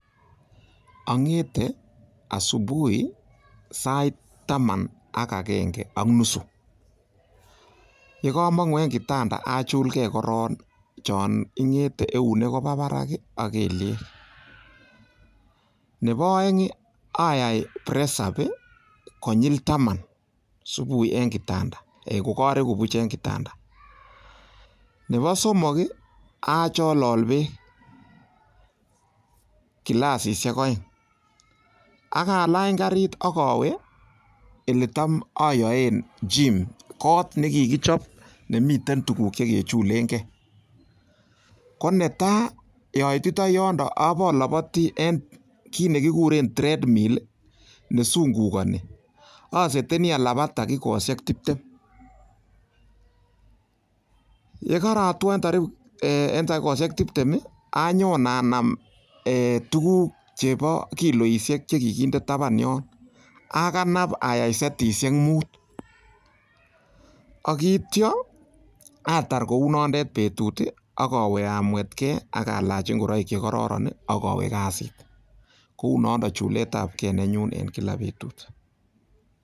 Ong'ete asubuhi sait taman ak agenge ak nusu ye komong'u en kitanda achulge korong chon ing'ete eunek koba barak ak kelyek, nebo oeng ayai press-up konyil taman subui en kitanda kogoreku buch en kitanda. Nebo somok acholol beek kilasishek oeng ak alny karit ak awe ele tam oyoen gym kot ne kigichop nemiten tuguk che kechulenge ko netai oititoi yondon aboloboti en kit ne kikuren thread mill nesungukani, aseteni alabat takikosiek tibtem. Ye karatwo en takikosiek tibtem anyon anam tuugk chebo kiloishek che kiginde taban yon akanab ayai setishek mut ak kityo atar kounondet betut ak awe amwetge ak alach ngoroik che kororon ak awe kasit. Kou nondon chulet ab ge nenyun en kila betut.